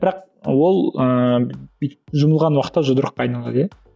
бірақ ол ыыы бүйтіп жұмылған уақытта жұдырыққа айналады иә